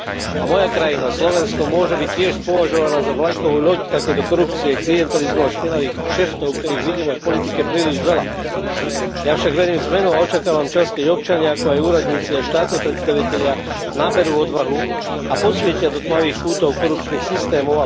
A moja krajina Slovensko môže byť tiež považovaná za vlajkovú loď takejto korupcie, klientelizmu a špinavých kšeftov, ktorých vidíme v politike príliš veľa. Ja však verím v zmenu a očakávam čas, keď občania, ako aj úradníci a štátni predstavitelia naberú odvahu a posvietia do tmavých kútov korupčných systémov.